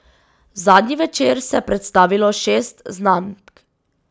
Zadnji večer se je predstavilo šest znamk.